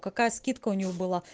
какая скидка у него была